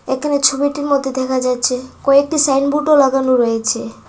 একানে ছবিটির মদ্যে দেখা যাচ্ছে কয়েকটি সাইনবোর্ডও লাগানো রয়েছে।